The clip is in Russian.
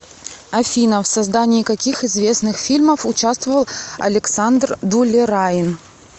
афина в создании каких известных фильмов учавствовал александр дулераин